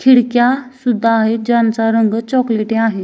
खिडक्या सुद्धा आहेत ज्यांचा रंग चॉकलेटी आहे.